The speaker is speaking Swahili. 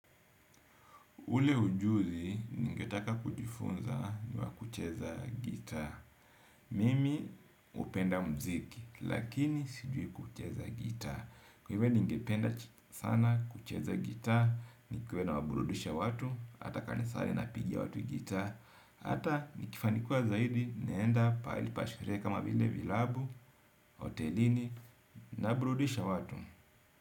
Ule ujuzi ningetaka kujifunza ni wa kucheza gitaa. Mimi hupenda mziki lakini sijui kucheza gitaa. Kwa hivyo ningependa sana kucheza gitaa ni kuwe nawaburudisha watu. Hata kanisani na pigia watu gitaa. Hata ni kifanikiwa zaidi naenda pahali pa sherehe kama vile vilabu, hotelini nawaburudisha watu.